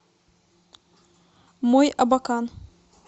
мойабакан